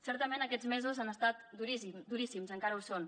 certament aquests mesos han estat duríssims encara ho són